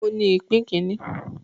Òun ní ipò kíní